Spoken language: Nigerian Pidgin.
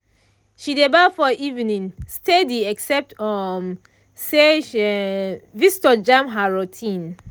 she dey baff for evening steady except um say um visitor jam her routine.